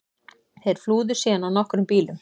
Þeir flúðu síðan á nokkrum bílum